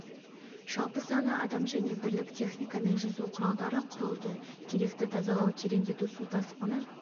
жалпы саны адам және бірлік техника мен жүзу құралдары құрылды керекті тазалау тереңдету су тасқыны